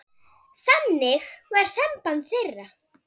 Þannig var samband þeirra.